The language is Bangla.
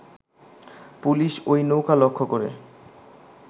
পুলিশ ঐ নৌকা লক্ষ্য করে